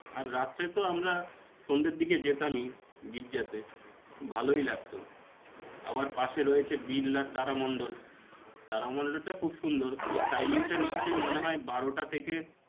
আর, রাত্রে তো আমরা সন্ধের দিকে যেতামই, গির্জাতে. ভালই লাগতো. আবার পাশে রয়েছে বিড়লা তারা মন্ডল. তারা মন্ডলটা খুব সুন্দর. ওর timeing টা নিশ্চয় মনেহয় বারোটা থেকে